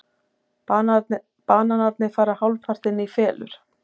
Bananarnir fara hálfpartinn í felur.